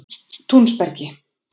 Túnsbergi